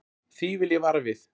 Því vil ég vara við.